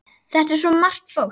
Þetta er svo margt fólk.